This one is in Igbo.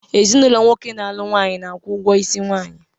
Ezinụlọ nwoke na-alụ nwaanyị na-akwụ ụgwọ isi nwaanyi